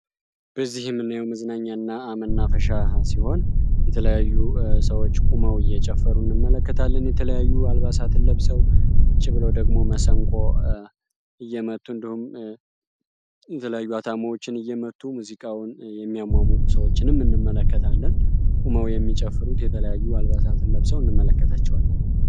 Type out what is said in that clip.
በዚህ ላይ የምናየው መዝናኛ እና መናፈሻ ሲሆን የተለያዩ ሰዎች ቆመው እየጨፈሩ እንመለከታለን። የተለያዩ አልባሳትን ለብሰው ቁጭ ብለው ደሞ መሰንቆ እየመቱ እንዲሁም የተለያዩ አታሞዎችን እየመቱ ሙዚቃውን የሚያሟሙቁ ሰዎችን እንመለከታለን። ቁመው ሚጨፍሩት የተለያዩ አልባሳትን ለብሰው እንመለከታቸዋለን።